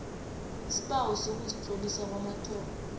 isibawo sokuzitlolisa kwamathomo